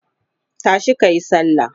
tashi kayi sallah!